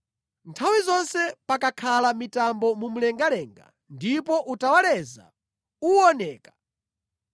Nthawi zonse pakakhala mitambo mu mlengalenga ndipo utawaleza uwoneka,